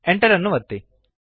Enter ಅನ್ನು ಒತ್ತಿರಿ